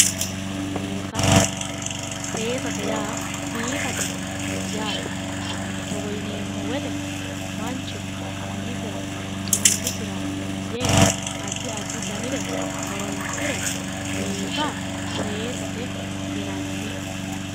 Seessa, seesate yaa biifate yaate togo yineemmo woyte mancho umisera xumilisera yee addi addi dannire horonsire biifa seesate yinnanni